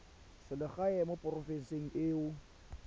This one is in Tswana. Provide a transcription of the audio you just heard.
selegae mo porofenseng e o